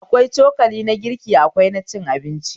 Akwai cokali na girki akwai na cin abinci